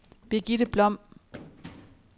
Birgitte Blom